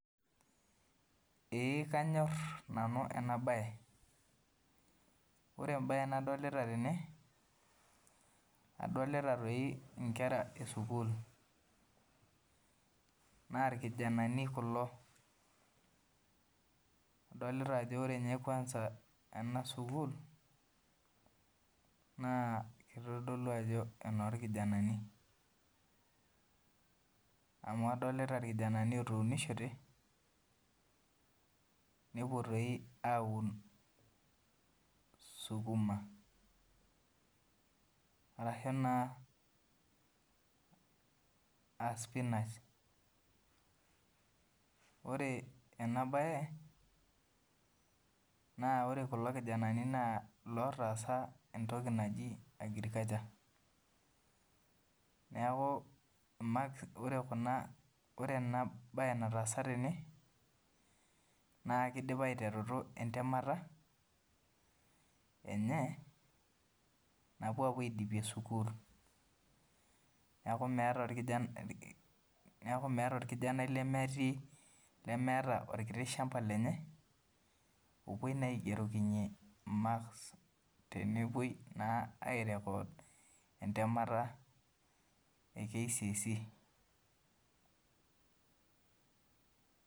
Eeh kanyor nanu ena baye ore embaye nadolita tena adolita inkera esukuul naa irkijanani kulo ore ena sukuul na aenoorkijananj amu adolita irkijanani otuunishote nepuo aaun sipinash naa ore ena baye na ilootasa entoki naji agriculture na ore enataasa tene naa keidipa aiteretu entemata enye napuo aapuo aodipie sukuul neeku meeta orkijani lemeeta olchamba lenye opuoi naa aigerokinyie makrs tenepuoi naa aire kood entemata e kcse